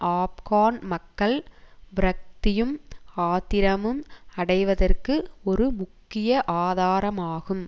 ஆப்கான் மக்கள் விரக்த்தியும் ஆத்திரமும் அடைவதற்கு ஒரு முக்கிய ஆதாரமாகும்